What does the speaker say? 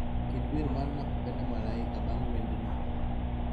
Ket wer mar nakupenda malaika bang' wend ni